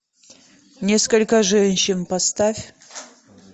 несколько женщин поставь